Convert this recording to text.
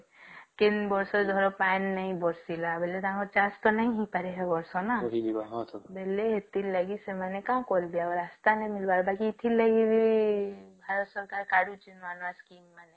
କେଁ ବର୍ଷ ଧର ପାନ ନାଇଁ ବର୍ଷିଲା ବୋଲେ ତ ତାଙ୍କର ଚାଷ ନାଇଁ ହେଇପାରେ ବସ